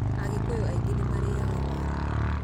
Agĩkũyũ nyingĩ nĩ marĩmaga waru.